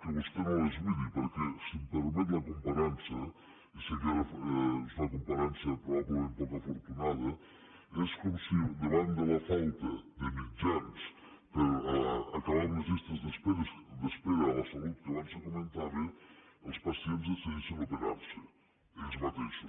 que vostè no les hi miri perquè si em permet la comparança i sé que és una comparança probablement poc afortunada és com si davant de la falta de mitjans per acabar amb les llistes d’espera a la salut que abans se comentaven els pacients decidissin operar se ells mateixos